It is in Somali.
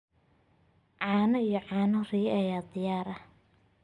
Caano iyo caano riyo ayaa diyaar ah.